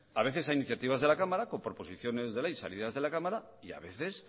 a veces a iniciativas de la cámara con proposiciones de ley salidas de la cámara y a veces